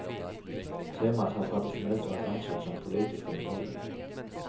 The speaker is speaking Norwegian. Temaet har tradisjonelt vært ansett som politisk ømtålig.